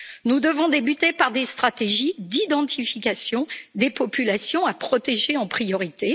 Nous devons débuter par des stratégies d'identification des populations à protéger en priorité.